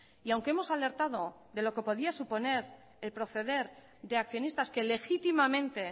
y aunque hemos alertado de lo que podría suponer el proceder de accionistas que legítimamente